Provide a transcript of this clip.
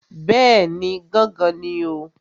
Bẹ́ẹ̀ni, gángan ni o.